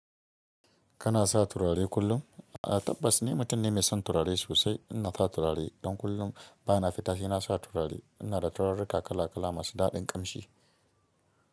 Kana sa turare kullum? A'a, tabbas ni, mutum ne mai son turare sosai. Ina sa turare don kullum bana fita, sai na sa turare. Ina da turarika kala kala masu daɗin ƙamshi.